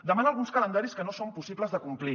demana alguns calendaris que no són possibles de complir